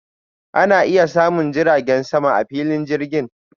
Ana iya samun jiragen sama a filin jirgin.